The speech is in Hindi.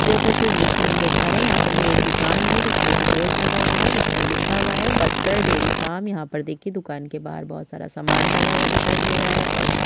जैसा की इस द्र्श्य में हम देख पा रहे है यहाँ पर ये एक दुकान है जिसमें कि बोर्ड लगा हुआ है जिस पर लिखा हुआ है बस्तर डेरी फार्म यहाँ पर देखिये दुकान के बाहर बहुत सारा सामान टंगा हुआ दिखाई दे रहा है और यहाँ --